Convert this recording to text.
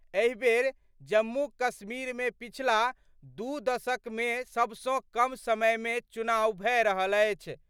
एहि बेर जम्मू कश्मीर मे पिछला दू दशक मे सबसं कम समय मे चुनाव भए रहल अछि।